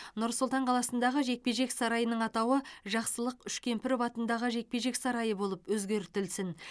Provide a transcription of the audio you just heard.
нұр сұлтан қаласындағы жекпе жек сарайының атауы жақсылық үшкемпіров атындағы жекпе жек сарайы болып өзгертілсін